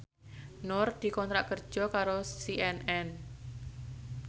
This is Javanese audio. Nur dikontrak kerja karo CNN